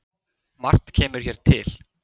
Margt kemur hér til.